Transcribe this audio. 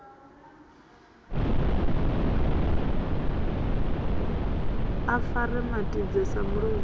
a fare matidze sa muloi